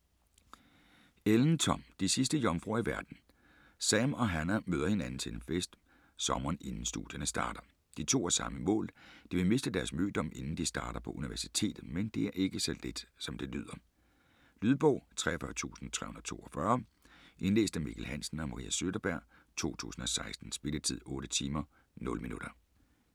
Ellen, Tom: De sidste jomfruer i verden Sam og Hannah møder hinanden til en fest, sommeren inden studierne starter. De to har samme mål, de vil miste deres mødom inden de starter på universitetet. Men det er ikke så let, som det lyder. Lydbog 43342 Indlæst af Mikkel Hansen og Marie Søderberg, 2016. Spilletid: 8 timer, 0 minutter.